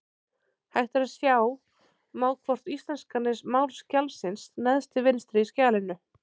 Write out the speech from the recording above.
Hægt er að sjá má hvort íslenska er mál skjalsins neðst til vinstri í skjalinu.